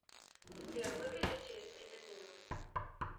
сбер выключись через тридцать минут